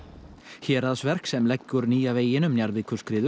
Héraðsverk sem leggur nýja veginn um